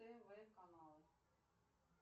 тв каналы